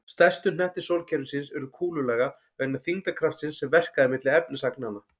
Stærstu hnettir sólkerfisins urðu kúlulaga vegna þyngdarkraftsins sem verkaði milli efnisagnanna.